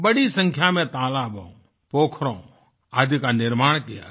बड़ी संख्या में तालाबों पोखरों आदि का निर्माण किया गया